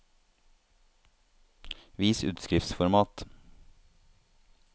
Vis utskriftsformat